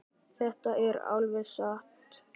Þetta er alveg satt.